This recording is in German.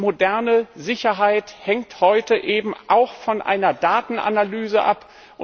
Moderne Sicherheit hängt heute auch von einer Datenanalyse ab.